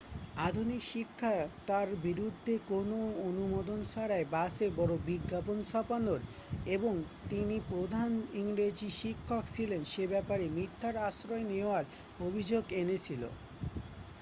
আধুনিক শিক্ষা তাঁর বিরুদ্ধে কোন অনুমোদন ছাড়াই বাসে বড় বিজ্ঞাপন ছাপানোর এবং তিনি প্রধান ইংরেজী শিক্ষক ছিলেন সে ব্যাপারে মিথ্যার আশ্রয় নেওয়ার অভিযোগ এনেছিল